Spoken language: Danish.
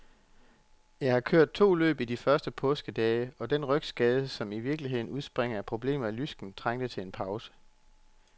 Jeg har kørt to løb i de første påskedage, og den rygskade, som i virkeligheden udspringer af problemer i lysken, trængte til en pause.